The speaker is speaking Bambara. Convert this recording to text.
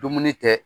Dumuni tɛ